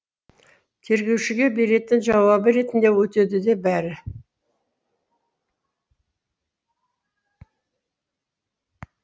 тергеушіге беретін жауабы ретінде өтеді бәрі